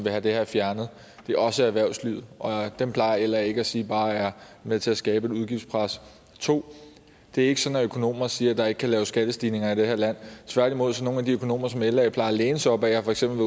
vil have det her fjernet det er også erhvervslivet og dem plejer la ikke sige bare er med til at skabe et udgiftspres og 2 det er ikke sådan at økonomer siger at der ikke kan laves skattestigninger i det her land tværtimod er der nogle af de økonomer som la plejer at læne sig op ad der for eksempel